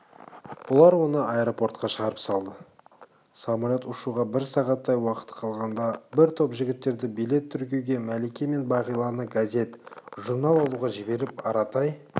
бұлар оны аэропортқа шығарып салды самолет ұшуға бір сағаттай уақыт қалғанда бір топ жігіттерді билет тіркеуге мәлике мен бағиланы газет-журнал алуға жіберіп аратай